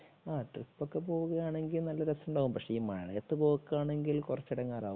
ആ ട്രിപ്പ് ഒക്കെ പോകുക ആണെങ്കിൽ നല്ല രാസമുണ്ടാകും. പക്ഷേ ഈ മഴയത്ത് പൊക്കാണെങ്കിൽ കുറച്ച് ഇടങ്ങാറാകും